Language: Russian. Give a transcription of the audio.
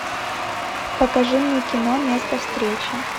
покажи мне кино место встречи